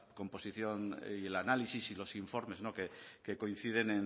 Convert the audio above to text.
composición y el análisis y los informes que coinciden